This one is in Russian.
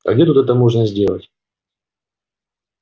а где тут это можно сделать